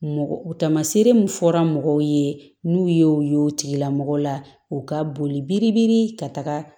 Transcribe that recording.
Mɔgɔ tamaseere min fɔra mɔgɔw ye n'u ye o ye o tigilamɔgɔ la u ka boli biri biri ka taga